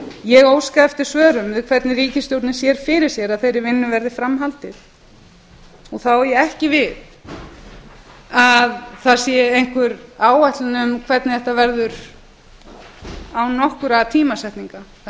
ég óska eftir svörum við hvernig ríkisstjórnin sér fyrir sér að þeirri vinnu verði fram haldið þá á ég ekki við að það sé einhver áætlun um hvernig þetta verður án nokkurrar tímasetningar það er